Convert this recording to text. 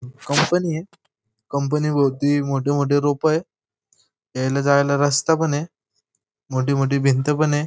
Company आहे company भोवती मोठमोठी रोप आहेत यायला जायला रस्ता पण आहे मोठी मोठी भिंत पण आहे.